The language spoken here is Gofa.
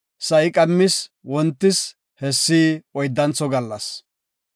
Sa7i qammis wontis; hessi oyddantho gallas.